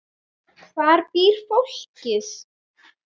Hvar býr fólkið?